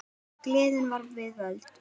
Gleðin var við völd.